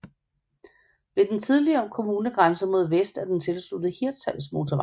Ved den tidligere kommunegrænse mod vest er den tilsluttet Hirtshalsmotorvejen